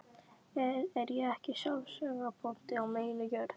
Er ég ekki sjálfseignarbóndi á minni jörð?